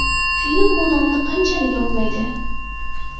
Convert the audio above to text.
Film bu nomni qanchalik oqlaydi?